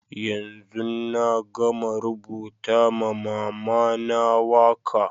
Yanzun na gama rubuta ma mama na waka.